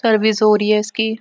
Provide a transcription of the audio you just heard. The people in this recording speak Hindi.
सर्विस हो रही है इसकी।